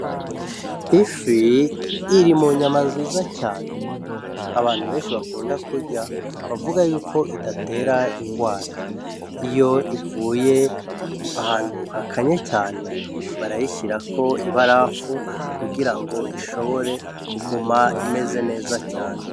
Ifi iri mu nyama nziza cane abantu benshi bakunda kurya bavuga yuko idatera ingwara, iyo ivuye ahantu hakanye cane barayishirako ibarafu kugira ngo ishobore kuguma imeze neza cane.